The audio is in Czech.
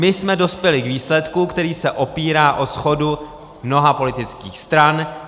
My jsme dospěli k výsledku, který se opírá o shodu mnoha politických stran.